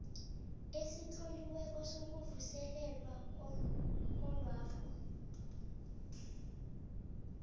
esitloliweko sokuvuselelwa komrholwakho